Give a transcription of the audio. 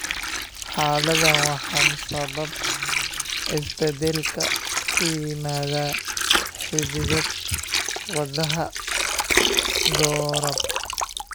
Xaaladdan waxaa sababa isbeddellada ku yimaada hidda-wadaha GORAB.